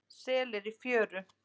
Selir í fjöru.